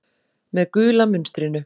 Með gula munstrinu.